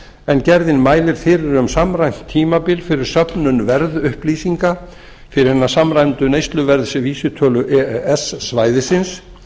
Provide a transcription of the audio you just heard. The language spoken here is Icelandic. en gerðin mælir fyrir um samræmt tímabil fyrir söfnun verðupplýsinga fyrir hina samræmdu neysluverðsvísitölu e e s svæðisins